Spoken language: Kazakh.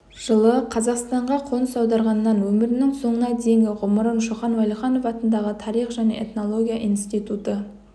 жылы қазақстанға қоныс аударғаннан өмірінің соңына дейінгі ғұмырын шоқан уәлиханов атындағы тарих және этнология институты